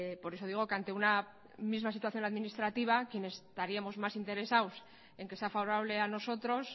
por eso digo que ante una misma situación administrativa quienes estaríamos mas interesados en que sea favorable a nosotros